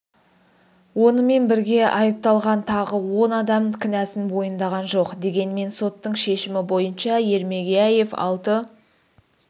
онымен бірге айыпталған тағы он адам кінәсін мойындаған жоқ дегенмен соттың шешімі бойынша ермегияев алты